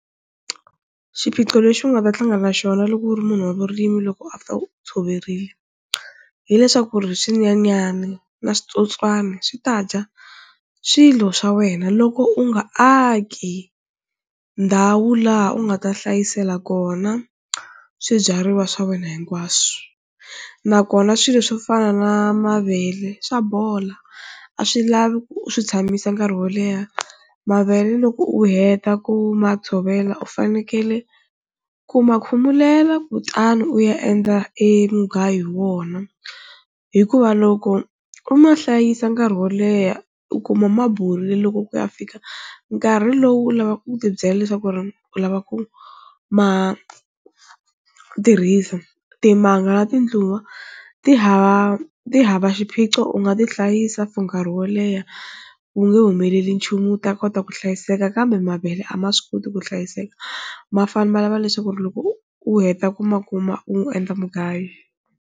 Xiphiqo lexi u nga ta hlangana na xona loko u ri munhu wa vurimi loko after u tshoverile hileswaku ri swinyenyani na switsotswani swi ta dya swilo swa wena loko u nga aki ndhawu laha u nga ta hlayisela kona swibyariwa swa wena, hinkwaswo nakona swilo swo fana na mavele swa bola a swi lavi ku u swi tshamisa nkarhi wo leha, mavele loko u heta ku ma tshovela u fanekele ku ma khumulela kutani u ya endla e mugayo hi wona hikuva loko u ma hlayisa nkarhi wo leha u kuma ma borile loko ku ya fika nkarhi lowu u lavaka ku tibyela leswaku ri u lava ku ma tirhisa, timanga na tindluwa ti hava ti hava xiphiqo u nga tihlayisa for nkarhi wo leha u nge humeleli nchumu ta kota ku hlayiseka kambe mavele a ma swi koti ku hlayiseka ma fana ma lava leswaku loko u heta ku ma kuma u endla mugayo.